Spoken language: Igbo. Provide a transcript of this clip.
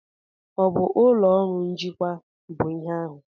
Ọ bụ ụlọ ọrụ njikwa bụ ihe ahụ?